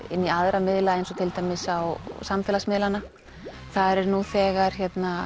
inn í aðra miðla eins og til dæmis á samfélagsmiðlana þar er nú þegar